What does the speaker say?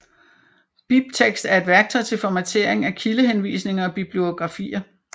BibTeX er et værktøj til formatering af kildehenvisninger og bibliografier